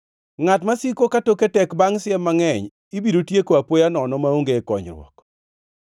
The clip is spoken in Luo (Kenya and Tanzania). Ngʼat masiko katoke tek bangʼ siem mangʼeny ibiro tieko apoya nono maonge konyruok.